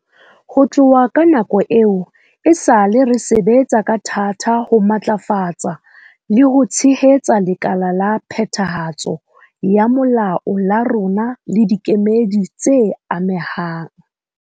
Ho tloha ka nako eo, esale re sebetsa ka thata ho matlafatsa le ho tshehetsa lekala la phethahatso ya molao la rona le dikemedi tse amehang.